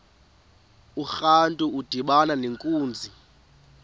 urantu udibana nenkunzi